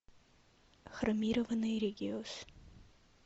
хромированный региос